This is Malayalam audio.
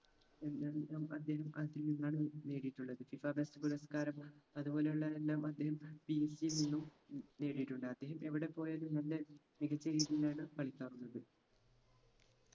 അദ്ദേഹം അർജന്റീനയിൽ നിന്നാണ് നേടിയിട്ടുള്ളത് ഫിഫ best പുരസ്‌കാരം അതുപോലെ ഉള്ള എല്ലാം അദ്ദേഹം PSG യിൽ നിന്നും ഉം നേടിയിട്ടുണ്ട് അദ്ദേഹം എവിടെ പോയാലും നല്ല മികച്ച രീതിയിലാണ് കളിക്കാറുള്ളത്